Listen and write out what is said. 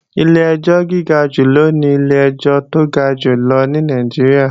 Ilé ẹjọ́ gíga jù lọ ní ilé ẹjọ́ tó ga jù lọ ní Nàìjíríà